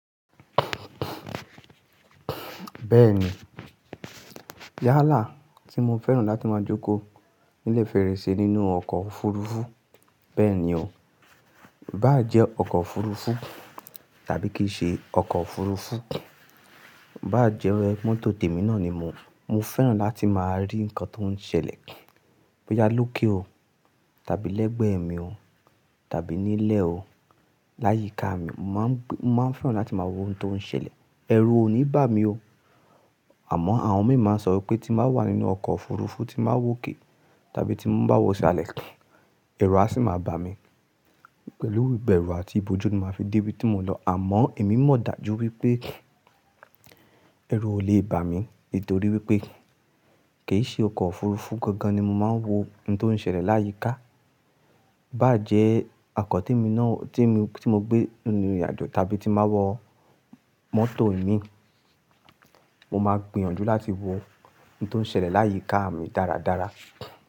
Bẹ́ẹ̀ni, yálà tí mo fẹ́ràn láti máa jókòó ní lè fèrèsé nínú ọkọ̀ òfurufú. Bẹ́ẹ̀ni o, ibá jẹ́ ọkọ̀ òfurufú tàbí kì í ṣe ọkọ̀ òfurufú, Ibá jẹ́ mọ́tò tèmi náà ni mo, mo fẹ́ràn láti máa rí nǹkan tó ń ṣẹlẹ̀ bóyá lókè o tàbí lẹ́gbẹ̀ẹ́ mi o tàbí nílẹ̀ o, láyíká mi. Mo máa ń fẹ́ràn láti máa wo ohun tó ń ṣẹlẹ̀. Ẹ̀rù ò ní bà mí o. Àmọ́ àwọn mi máa ń sọ wípé tí n bàá wà nínú ọkọ̀ òfurufú tí màá wòkè tàbí tí mo bá wọ sí alẹ̀, ẹ̀rù á sì máa bà mí. Pẹ̀lú ìbẹ̀rù àti ìbòjú ni màá fi dé ibi tí mo lọ. Àmọ́ èmi mò dájú wípé ẹ̀rù ò lè bà mí nítorí wípé kì í ṣe ọkọ̀ òfurufú gangan ni mo máa ń wo ohun tó ń ṣẹlẹ̀ láyíká. Bá jẹ́ ọkọ́ tèmi náà tí mo gbé nínú ìrìnàjò tàbí tí màá wọ mọ́tò ìmi, mo máa gbìyànjú láti wo ohun tó ń ṣẹlẹ̀ láyíká mi dáradára.